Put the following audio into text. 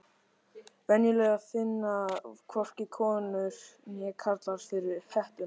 Venjulega finna hvorki konur né karlar fyrir hettunni.